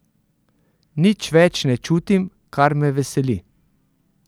Nič več ne čutim, kar me veseli.